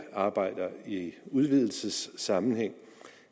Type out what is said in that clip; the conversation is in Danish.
arbejder i udvidelsessammenhæng